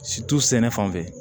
sɛnɛ fan fɛ